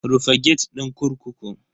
Rufe gate din kurkukun.